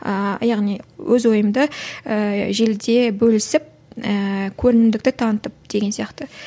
ааа яғни өз ойымды ііі желіде бөлісіп ііі көрімдікті танытып деген сияқты